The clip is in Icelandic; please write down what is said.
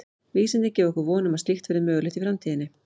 Vísindin gefa okkur von um að slíkt verði mögulegt í framtíðinni.